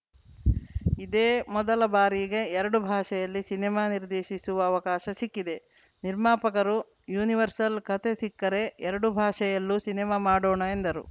ಇದೇ ಮೊದಲ ಬಾರಿಗೆ ಎರಡು ಭಾಷೆಯಲ್ಲಿ ಸಿನಿಮಾ ನಿರ್ದೇಶಿಸುವ ಅವಕಾಶ ಸಿಕ್ಕಿದೆ ನಿರ್ಮಾಪಕರು ಯೂನಿವರ್ಸಲ್‌ ಕತೆ ಸಿಕ್ಕರೆ ಎರಡು ಭಾಷೆಯಲ್ಲೂ ಸಿನಿಮಾ ಮಾಡೋಣ ಎಂದರು